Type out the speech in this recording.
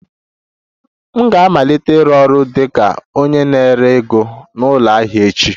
M ga-amalite ịrụ ọrụ dị ka onye na-ere ego na ụlọ ahịa echi